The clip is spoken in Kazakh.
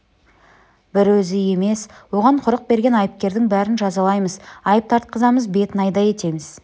бір өзі емес оған құрық берген айыпкердің бәрін жазалаймыз айып тартқызамыз бетін айдай етеміз